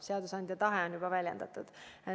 Seadusandja tahe on juba väljendatud.